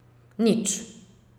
Nič.